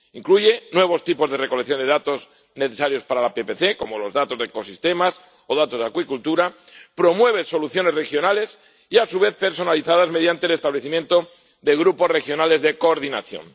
Incluye nuevos tipos de recolección de datos necesarios para la PPC, como los datos de ecosistemas o datos de acuicultura, y promueve soluciones regionales y, a su vez, personalizadas mediante el establecimiento de grupos regionales de coordinación.